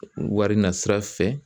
Wari nasira fɛ